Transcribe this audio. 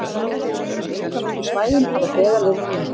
Viðkvæmustu svæðin hafa þegar verið rýmd